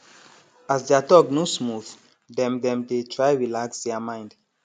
as their talk no smooth dem dem dey try relax their mind